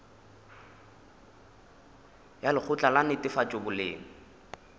ya lekgotla la netefatšo boleng